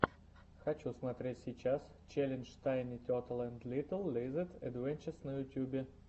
хочу смотреть сейчас челлендж тайни тетл энд литл лизэд адвенчез на ютюбе